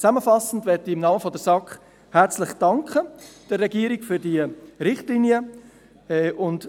Zusammenfassend möchte ich der Regierung im Namen der SAK herzlich für diese Richtlinien danken.